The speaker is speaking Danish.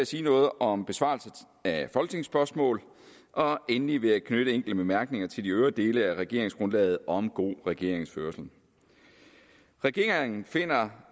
sige noget om besvarelse af folketingsspørgsmål og endelig vil jeg knytte enkelte bemærkninger til de øvrige dele af regeringsgrundlaget om god regeringsførelse regeringen finder